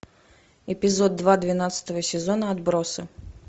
эпизод два двенадцатого сезона отбросы